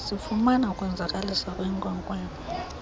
sifumana ukwenzakaliswa kwenkwenkwana